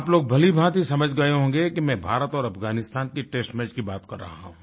आप लोग भलीभांति समझ गए होंगे कि मैं भारत और अफगानिस्तान के टेस्ट मैच की बात कर रहा हूँ